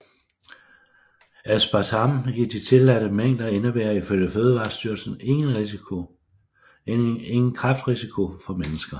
Aspartam i de tilladte mængder indebærer ifølge Fødevarestyrelsen ingen kræftrisiko for mennesker